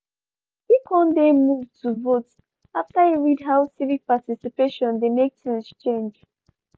e kon dey moved to vote after e read how civic participation dey make things change.